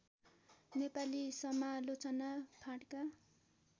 नेपाली समालोचना फाँटका